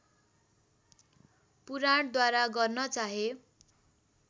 पुराणद्वारा गर्न चाहे